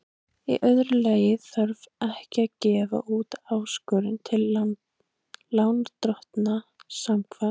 Í öðru lagi þarf ekki að gefa út áskorun til lánardrottna samkvæmt